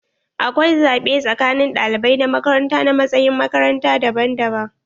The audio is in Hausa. Akwai zaɓe tsakanin ɗalibai na makaranta na matsayin makaranta daban daban.